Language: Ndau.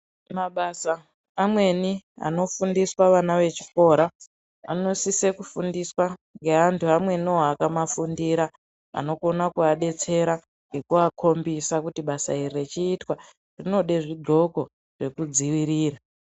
Mabasa amweni ano fundiswa vana ve chikora ano sise ku fundiswa nge antu amweniwo aka mafundira ano kona ku adetsera ngeku akombisa kuti basa iri rechi itwa rinode zvi ndxoko zveku dzivirira.